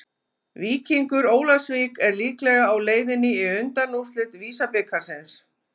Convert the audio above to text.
Víkingur Ólafsvík er líklega á leiðinni í undanúrslit VISA-bikarsins.